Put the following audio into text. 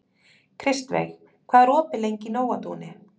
Kristveig, hvað er opið lengi í Nóatúni?